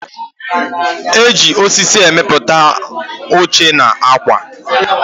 Eji osisi emepụta oche na akwa